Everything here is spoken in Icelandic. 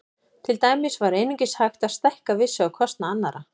Til dæmis var einungis hægt að stækka við sig á kostnað annarra.